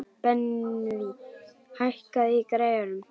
Benvý, hækkaðu í græjunum.